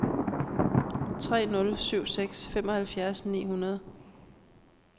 tre nul syv seks femoghalvfjerds ni hundrede